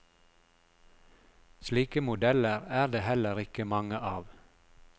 Slike modeller er det heller ikke mange av.